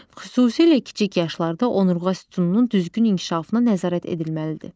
Xüsusilə kiçik yaşlarda onurğa sütununun düzgün inkişafına nəzarət edilməlidir.